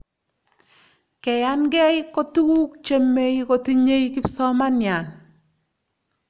keyankeei ko tukuk chemeikotinye kipsomanian